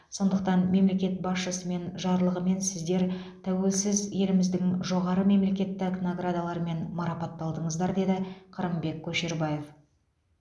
сондықтан мемлекет басшысымен жарлығымен сіздер тәуелсіз еліміздің жоғары мемлекеттік наградаларымен марапатталдыңыздар деді қырымбек көшербаев